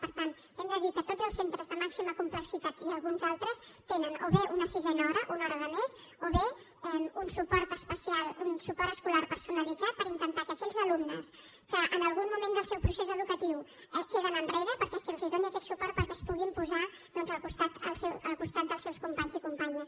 per tant hem de dir que tots els centres de màxima complexitat i alguns altres tenen o bé una sisena hora una hora de més o bé un suport especial un suport escolar personalitzat per intentar que aquells alumnes que en algun moment del seu procés educatiu queden enrere que se’ls doni aquest suport perquè es puguin posar doncs al costat dels seus companys i companyes